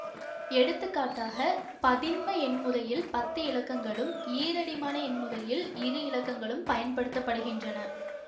எடுத்துக்காட்டாக பதின்ம எண் முறையில் பத்து இலக்கங்களும் ஈரடிமான எண் முறையில் இரு இலக்கங்களும் பயன்படுத்த படுகின்றன